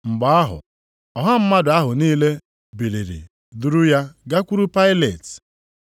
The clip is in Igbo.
Mgbe ahụ, ọha mmadụ ahụ niile biliri duru ya gakwuru Pailet.